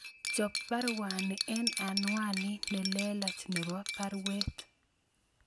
Chob baruani en anwanit nelelach nebo baruet